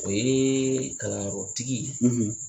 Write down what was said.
O yee kalanyɔrɔtigi